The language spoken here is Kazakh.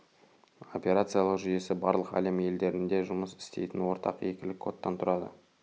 операциялық жүйесі барлық әлем елдерінде жұмыс істейтін ортақ екілік кодтан тұрады